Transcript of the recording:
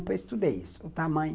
Eu estudei isso, o tamanho.